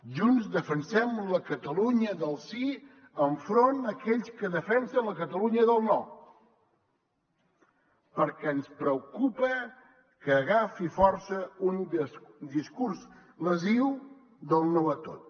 junts defensem la catalunya del sí enfront d’aquells que defensen la catalunya del no perquè ens preocupa que agafi força un discurs lesiu del no a tot